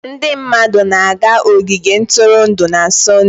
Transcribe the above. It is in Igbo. Ndị mmadụ na-aga ogige ntụrụndụ na Sọnde.